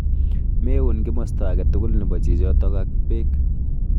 Meun kimosta age tugul nebo chichitok ak bek.